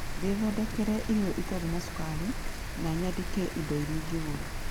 ngĩthondekere irio itarĩ na cukari na nyandĩke indo iria ingĩgũra.